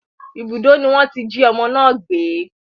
Ibùdó ni wọ́n tí jí ọmọ náà gbé